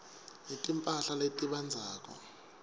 netimphahla letibandzako